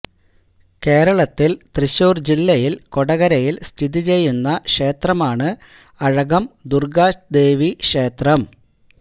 കേരളത്തിൽ തൃശ്ശൂർ ജില്ലയിലെ കൊടകരയിൽ സ്ഥിതിചെയ്യുന്ന ക്ഷേത്രമാണ് അഴകം ദുർഗ്ഗാദേവി ക്ഷേത്രം